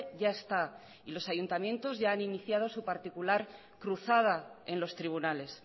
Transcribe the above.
ya está y los ayuntamientos ya han iniciado su particular cruzada en los tribunales